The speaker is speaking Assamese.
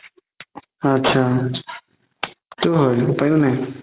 আতচা সেইটোও হয় উপাইও নাই